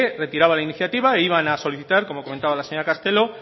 retiraba la iniciativa e iban a solicitar como comentaba la señora castelo